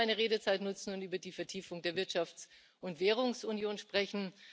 Ich möchte meine Redezeit dafür nutzen, um über die Vertiefung der Wirtschafts und Währungsunion zu sprechen.